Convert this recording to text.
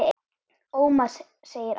Ómar, segir annar.